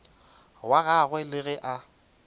wa gagwe le ge a